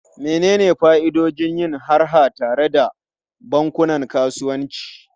Menene fa'idodin yin harha tare da bankunan kasuwanci?